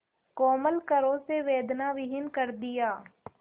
कोमल करों से वेदनाविहीन कर दिया